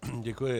Děkuji.